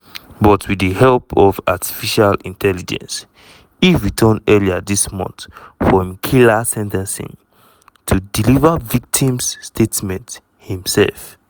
but wit di help of artificial intelligence e return earlier dis month for im killer sen ten cing to deliver victim's statement imsef.